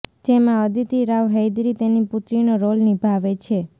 જેમાં અદિતિ રાવ હૈદરી તેની પુત્રીનો રોલ નિભાવે છે